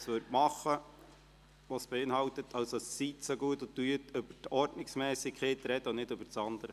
Seien Sie so gut und sprechen Sie über die Ordnungsmässigkeit und nicht über das Andere.